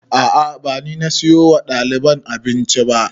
A'a ba ni na siyo wa ɗaliban abinci ba